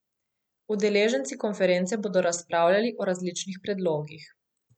Udeleženci konference bodo razpravljali o različnih predlogih.